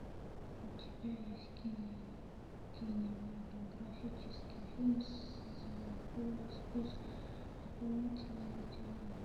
у тебя есть кинематографический фильм зверополис плюс дополнительные материалы